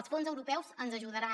els fons europeus ens ajudaran